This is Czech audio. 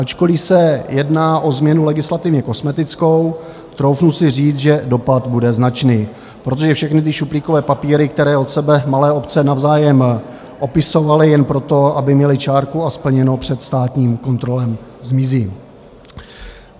Ačkoliv se jedná o změnu legislativně kosmetickou, troufnu si říct, že dopad bude značný, protože všechny ty šuplíkové papíry, které od sebe malé obce navzájem opisovaly jen proto, aby měly čárku a splněno před státní kontrolou, zmizí.